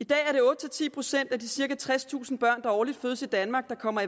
i dag er det otte ti procent af de cirka tredstusind børn der årligt fødes i danmark der kommer